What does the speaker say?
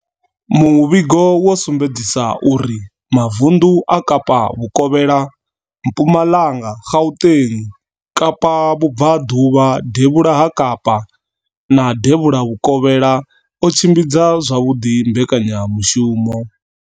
Muvhigo wo sumbedzisa uri mavundu a Kapa Vhukovhela, Mpumalanga, Gauteng, Kapa Vhubvaḓuvha, Devhula ha Kapa na Devhula Vhukovhela o tshimbidza zwavhuḓi mbekanyamushumo.